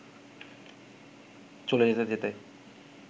চলে যেতে যেতে